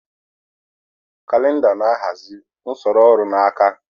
Kalịnda na-ahazi usoro ọrụ n'aka.